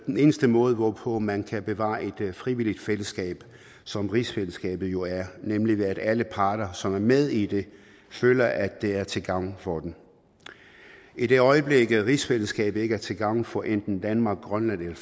den eneste måde hvorpå man kan bevare et frivilligt fællesskab som rigsfællesskabet jo er nemlig ved at alle parter som er med i det føler at det er til gavn for dem i det øjeblik at rigsfællesskabet ikke er til gavn for enten danmark grønland